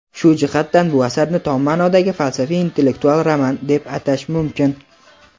Shu jihatdan bu asarni tom maʼnodagi falsafiy-intellektual roman deb atash mumkin.